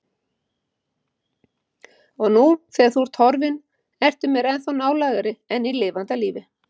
Og nú þegar þú ert horfin ertu mér ennþá nálægari en í lifanda lífi.